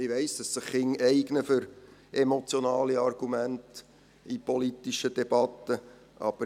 Ich weiss, dass sich Kinder für emotionale Argumente in politischen Debatten eignen.